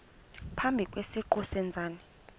phambi kwesiqu sezenzi